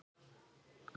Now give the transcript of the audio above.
Elsku Heiðrún mín.